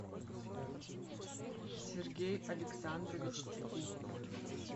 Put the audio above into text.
сергей александрович трегубов